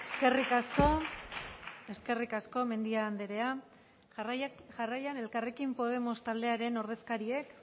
eskerrik asko eskerrik asko mendia andrea jarraian elkarrekin podemos taldearen ordezkariek